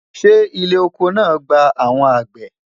ṣé ilé ọkọ lẹ gbà àwọn àgbẹ?